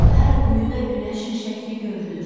Hər quyuda günəşin şəkli görünür.